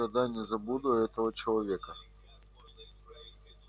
никогда не забуду этого человека